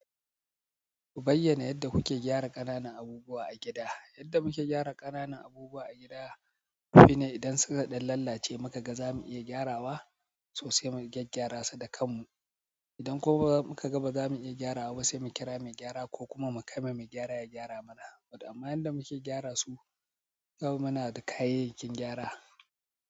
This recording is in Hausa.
Ku bayyana yadda kuke gyara ƙananan abubuwa a gida. Yadda muke gyara ƙananan abubuwa a gida shine idan suka ɗan lalace muka ga zamu iya gyarawa so sai mu gyaggyara su da kanmu. Idan kuma muka ga ba zamu iya gyarawa ba sai mu kira mai gyara ko kuma mu kai ma mai gyara ya gyara mana. Waɗannan da muke gyara su, kawai muna da kayayyakin gyara.